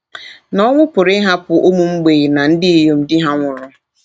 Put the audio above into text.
Na ọnwụ pụrụ ịhapụ ụmụ mgbei na ndị inyom di ha nwụrụ.